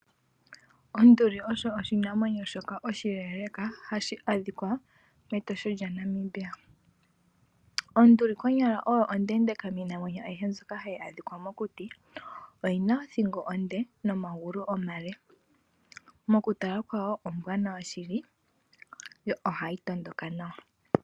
Onduli osho oshinamwenyo shoka oshileeleka hashi adhikwa mEtosha yaNamibia. Onduli konyala oyo ondeendeka miinamwenyo ayihe mbyoka hayi adhika mokuti, oyina othingo onde nomagulu omale mokutala kwawo ombwanawa shili yo ohayi tondoka nawa.